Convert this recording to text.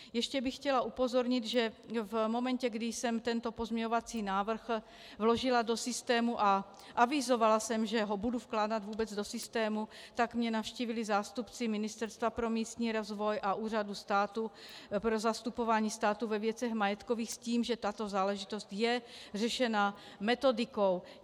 Ještě bych chtěla upozornit, že v momentě, kdy jsem tento pozměňovací návrh vložila do systému a avizovala jsem, že ho budu vkládat vůbec do systému, tak mě navštívili zástupci Ministerstva pro místní rozvoj a Úřadu státu pro zastupování státu ve věcech majetkových s tím, že tato záležitost je řešena metodikou.